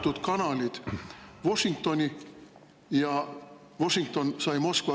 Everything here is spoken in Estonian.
… avatud kanalid Washingtoni ja Washington sai Moskvaga …